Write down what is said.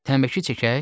Tənbəki çəkək?